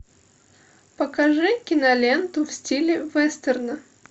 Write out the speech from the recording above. покажи киноленту в стиле вестерна